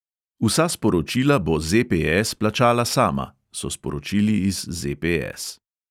"Vsa sporočila bo ZPS plačala sama," so sporočili iz ZPS.